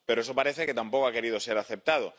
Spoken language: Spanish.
Pero eso parece que tampoco ha querido ser aceptado.